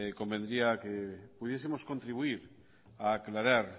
convendría que pudiesemos contribuir a aclarar